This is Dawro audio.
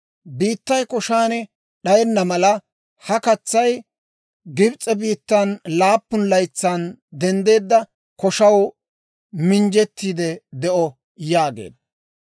Biittay koshaan d'ayenna mala, ha katsay Gibs'e biittan laappun laytsaan denddana koshaw minjjettiide de'o» yaageedda.